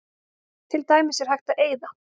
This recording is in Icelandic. Til dæmis er hægt að eyða